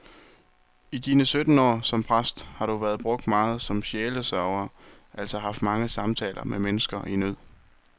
I dine sytten år som præst har du været brugt meget som sjælesørger, altså haft mange samtaler med mennesker i nød.